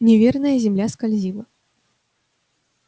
неверная земля скользила